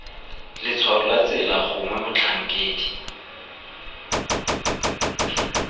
letshwao la tsela gongwe motlhankedi